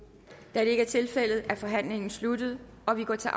da det ikke er tilfældet er forhandlingen sluttet og vi går til